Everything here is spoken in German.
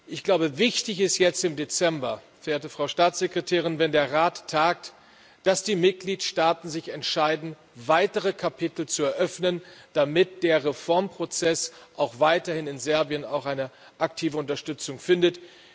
Ich glaube, wichtig ist jetzt im Dezember, verehrte Frau Staatssekretärin, wenn der Rat tagt, dass die Mitgliedstaaten sich dafür entscheiden, weitere Kapitel zu eröffnen, damit der Reformprozess auch weiterhin in Serbien eine aktive Unterstützung findet.